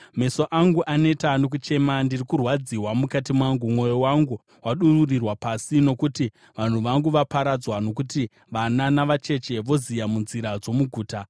Meso angu aneta nokuchema, ndiri kurwadziwa mukati mangu, mwoyo wangu wadururirwa pasi nokuti vanhu vangu vaparadzwa, nokuti vana navacheche voziya munzira dzomuguta.